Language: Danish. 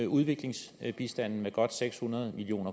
udviklingsbistanden med godt seks hundrede million